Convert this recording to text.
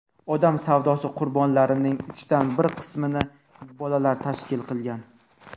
odam savdosi qurbonlarining uchdan bir qismini bolalar tashkil qilgan.